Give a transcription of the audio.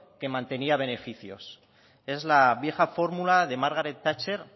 que mantenía beneficios es la vieja fórmula de margaret thatcher